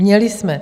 Měli jsme.